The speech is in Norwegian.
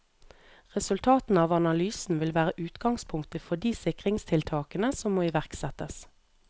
Resultatene av analysen vil være utgangspunktet for de sikringstiltakene som må iverksettes.